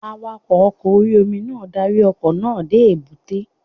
Awakọ̀ oko orí-omi náà darí ọkọ̀ náà dé èbúté